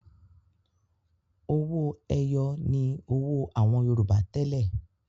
Owó-ẹyọ ni owó àwọn Yorùbá tẹ́lẹ̀.